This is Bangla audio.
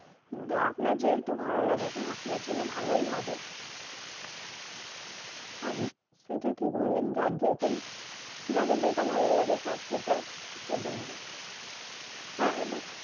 আপনার যেটা ভালো লাগে আপনার জন্যে ভালো হি হবে হেঁ সেটা ঠিক বললেন যার যেরকম যাকে যেটা ভালো তার সেটা বললো হেঁ এ বার